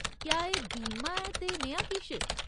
क्या एह् बीमा ऐ ते नेहा किश ?